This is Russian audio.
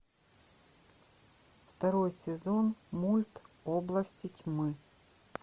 второй сезон мульт области тьмы